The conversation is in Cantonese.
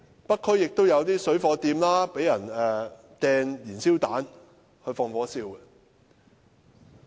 北區有些水貨店也曾被人投擲燃燒彈，放火燒鋪。